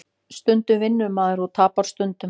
Stundum vinnur maður og tapar stundum